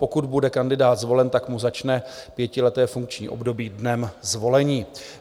Pokud bude kandidát zvolen, tak mu začne pětileté funkční období dnem zvolení.